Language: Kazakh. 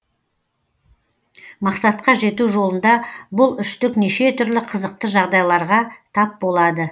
мақсатқа жету жолында бұл үштік неше түрлі қызықты жағдайларға тап болады